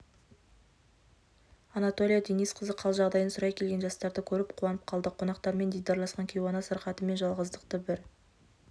анатолия денисқызы қал-жағдайын сұрай келген жастарды көріп қуанып қалды қонақтармен дидарласқан кейуана сырқаты мен жалғыздықты бір